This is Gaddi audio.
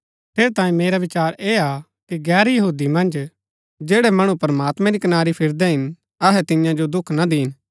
ठेरैतांये मेरा विचार ऐह हा कि गैर यहूदी मन्ज जैड़ै मणु प्रमात्मैं री कनारी फिरदै हिन अहै तियां जो दुख ना दीन